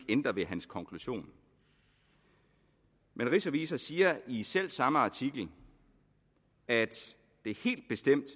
ændret ved hans konklusion men rigsrevisor siger i selv samme artikel at det helt bestemt